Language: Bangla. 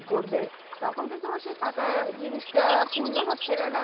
কি করবে? তখন তো তোমার সেই ফাঁকা জিনিসটা পূর্ণ হচ্ছেনা না।